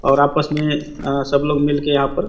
और आपस मे सब लोग मिल के यहाँ पर--